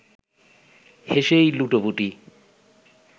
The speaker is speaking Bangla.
হেসেই লুটোপুটি